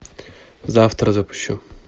завтра запущу